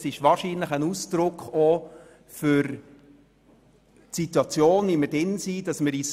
Es ist wahrscheinlich auch ein Ausdruck der Situation, in welcher wir uns befinden.